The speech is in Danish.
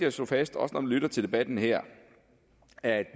at slå fast også når man lytter til debatten her at